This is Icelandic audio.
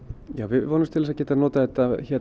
við vonumst til að geta notað þetta